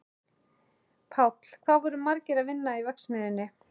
Páll: Hvað voru margir að vinna í verksmiðjunni?